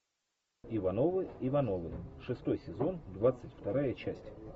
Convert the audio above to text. ивановы ивановы шестой сезон двадцать вторая часть